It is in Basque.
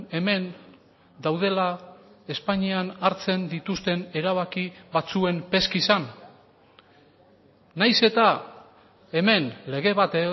hemen daudela espainian hartzen dituzten erabaki batzuen peskizan nahiz eta hemen lege bat